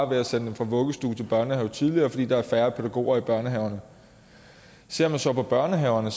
ved at sende dem fra vuggestue til børnehave tidligere fordi der er færre pædagoger i børnehaverne ser man så på børnehaverne